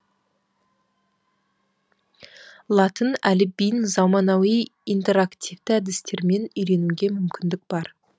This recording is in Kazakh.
латын әліпбиін заманауи интераективті әдістермен үйренуге мүмкіндік бар